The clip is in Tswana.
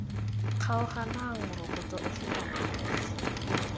kgaoganang morokotso ofe kana ofe